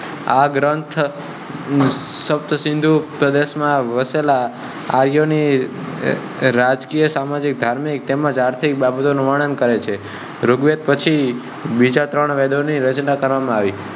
આ ગ્રંથ સપ્તસિંધુ પ્રદેશ માં વસેલા આર્યો ની રાજકીય, સામાજીક, ધાર્મિક તેમજ આર્થિક બાબતો નું વર્ણન કરે છે. ઋગ્વેદ પછી બીજા ત્રણ વેદો ની રચના કરવામાં આવી